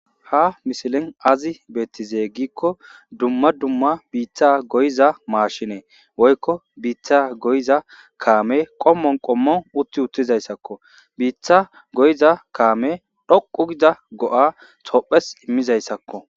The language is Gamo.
ha misilin azi beetizeygikko dumma dumma biitha goyiza maashinee woykko biitha goyiza kaame qommon qommon utti uttizayssakko biitha goyiza kaame dhoqu gida go7a tophes immizayssakko